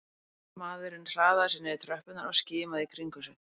Maðurinn hraðaði sér niður tröppurnar og skimaði í kringum sig